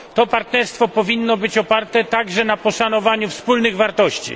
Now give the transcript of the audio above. To partnerstwo powinno być oparte także na poszanowaniu wspólnych wartości.